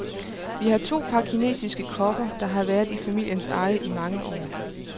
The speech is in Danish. Vi har to par kinesiske kopper, der har været i familiens eje i mange år.